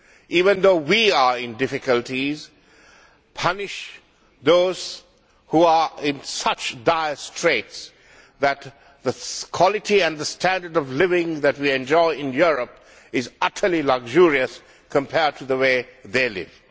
even though we are in difficulties punish those who are in such dire straits that the quality and standard of living that we enjoy in Europe is utterly luxurious compared to the way they live.